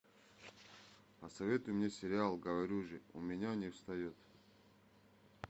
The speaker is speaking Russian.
посоветуй мне сериал говорю же у меня не встает